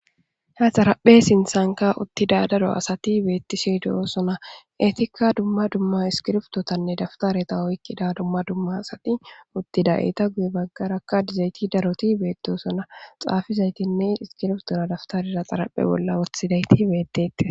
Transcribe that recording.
ha xaraphe sinthanka uttida daro asati beettishe de'osona etikka dumma dumma iskirptotanne dawutareta oykkida dumma dumma asati uttida eeta guye baggarakka dizayti daroti beetdosona xaafizaytinne iskiprtor dawutarera xaraphe bolla wothidayti beettete